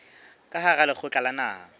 ka hara lekgotla la naha